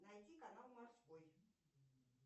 найди канал морской